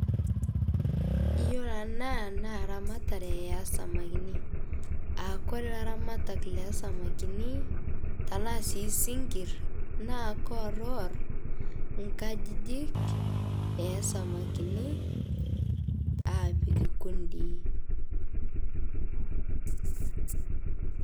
Iyoloo ana naa ramatare esamakini aa kore laramatak Le samakini tanaa sii sinkir naa koworwor nkajijik esamakini, aapik kundi.